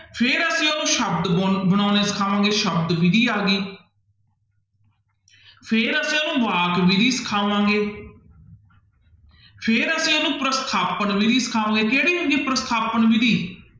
ਫਿਰ ਅਸੀਂ ਉਹਨੂੰ ਸ਼ਬਦ ਗੁਣ ਬਣਾਉਣੇ ਸਿਖਾਵਾਂਗੇ ਸ਼ਬਦ ਵਿੱਧੀ ਆ ਗਈ ਫਿਰ ਅਸੀਂ ਉਹਨੂੰ ਵਾਕ ਵਿੱਧੀ ਸਿਖਾਵਾਂਗੇੇ ਫਿਰ ਅਸੀਂ ਉਹਨੂੰ ਪ੍ਰਸਥਾਪਨ ਵਿੱਧੀ ਸਿਖਾਵਾਂਗੇ, ਕਿਹੜੀ ਹੁੰਦੀ ਹੈ ਪ੍ਰਸਥਾਪਨ ਵਿੱਧੀ?